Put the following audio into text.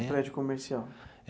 É um prédio comercial?